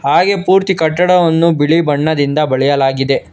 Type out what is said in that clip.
ಹಾಗೆ ಪೂರ್ತಿ ಕಟ್ಟಡವನ್ನು ಬಿಳಿ ಬಣ್ಣದಿಂದ ಬಳೆಯಲಾಗಿದೆ.